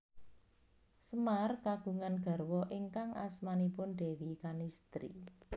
Semar kagungan garwa ingkang asmanipun Déwi Kanistri